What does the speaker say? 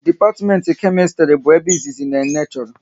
Dipatimenti Kemistri bụ ebe izizi Nene chọrọ